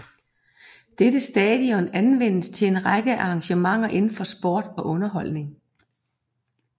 Dette stadion anvendes til en række af engagementer indenfor sport og underholdning